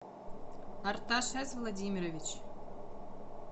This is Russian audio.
арташес владимирович